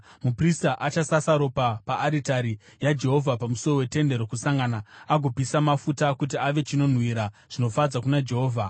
Muprista achasasa ropa paaritari yaJehovha pamusuo weTende Rokusangana agopisa mafuta kuti ave chinonhuhwira zvinofadza kuna Jehovha.